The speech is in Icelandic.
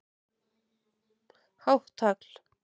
Hátt tagl